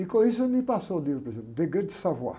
E com isso ele me passou livro, por exemplo.